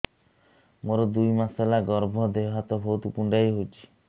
ମୋର ଦୁଇ ମାସ ହେଲା ଗର୍ଭ ଦେହ ହାତ ବହୁତ କୁଣ୍ଡାଇ ହଉଚି